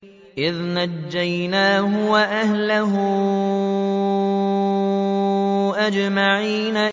إِذْ نَجَّيْنَاهُ وَأَهْلَهُ أَجْمَعِينَ